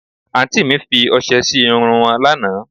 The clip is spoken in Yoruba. Àǹtí mi fi ọsẹ sí irun wọn lánàá